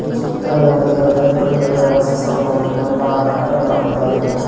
ಈ ಚಿತ್ರಡ್ ಉಂದು ಜನೊಕ್ಲೆಗ್ ವಾಸಿಸೊವ್ನ ಒಂಜಿ ಮಲ್ಲ ಕಟ್ಟಡ್ಲ ಉಂದಾದಿಪ್ಪು .